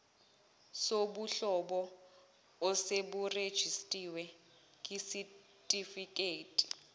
sobuhlobo oseburejistiwe kwisitifiketi